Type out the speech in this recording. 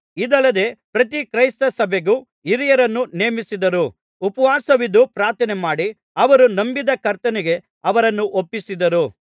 ಇದಲ್ಲದೆ ಪ್ರತಿ ಕ್ರೈಸ್ತ ಸಭೆಗೂ ಹಿರಿಯರನ್ನು ನೇಮಿಸಿದರು ಉಪವಾಸವಿದ್ದು ಪ್ರಾರ್ಥನೆ ಮಾಡಿ ಅವರು ನಂಬಿದ್ದ ಕರ್ತನಿಗೆ ಅವರನ್ನು ಒಪ್ಪಿಸಿದರು